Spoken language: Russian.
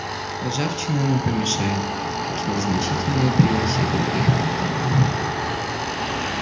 ржавчина не помешает как и незначительные примеси других металлов